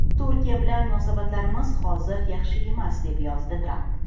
Turkiya bilan munosabatlarimiz hozir yaxshi emas”, deb yozdi Tramp.